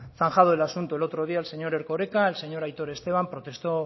zanjado el asunto el otro día el señor erkoreka y el señor aitor esteban